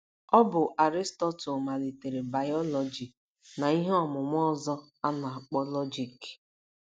Ọ bụ Aristotle malitere bayọlọji na ihe ọmụmụ ọzọ a na - akpọ lọjik.